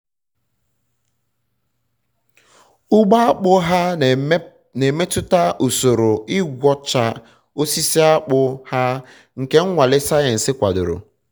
ugbo akpụ ha na-emetụta usoro igwọcha osisi akpụ ha nke nnwale sayensị kwadoro